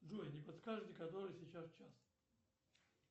джой не подскажете который сейчас час